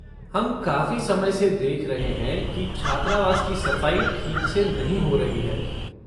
हम काफ़ी समय से देख रहें हैं की छात्रावास की सफ़ाई ठीक से नहीं हो रही है।